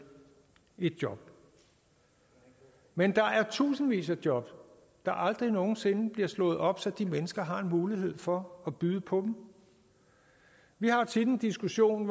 et job men der er tusindvis af job der aldrig nogensinde bliver slået op så de mennesker har en mulighed for at byde på dem vi har tit en diskussion